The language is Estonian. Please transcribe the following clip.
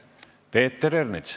Peeter Ernits.